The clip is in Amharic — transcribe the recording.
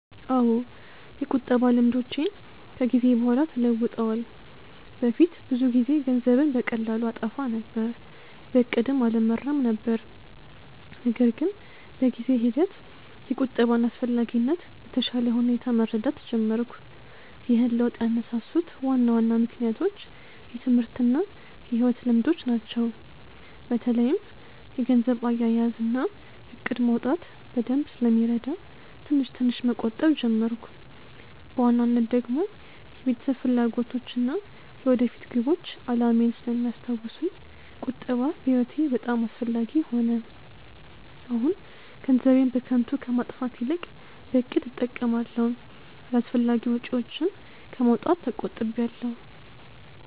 አዎ፣ የቁጠባ ልምዶቼ ከጊዜ በኋላ ተለውጠዋል። በፊት ብዙ ጊዜ ገንዘብን በቀላሉ አጠፋ ነበር። በእቅድም አልመራም ነበር። ነገር ግን በጊዜ ሂደት የቁጠባን አስፈላጊነት በተሻለ ሁኔታ መረዳት ጀመርኩ። ይህን ለውጥ ያነሳሱት ዋና ዋና ምክንያቶች የትምህርት እና የሕይወት ልምዶች ናቸው። በተለይም የገንዘብ አያያዝ እና እቅድ ማውጣት በደንብ ስለሚረዳ ትንሽ ትንሽ መቆጠብ ጀመርኩ። በዋናነት ደግሞ የቤተሰብ ፍላጎቶች እና የወደፊት ግቦች አላማዬን ስለሚያስታውሱኝ ቁጠባ በህይወቴ በጣም አስፈላጊ ሆነ። አሁን ገንዘቤን በከንቱ ከማጥፋት ይልቅ በእቅድ እጠቀማለሁ፣ አላስፈላጊ ወጪዎችን ከማውጣት ተቆጥቢያለው።